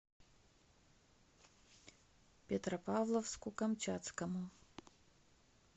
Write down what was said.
петропавловску камчатскому